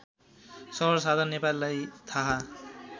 सर्वसाधारण नेपालीलाई थाहा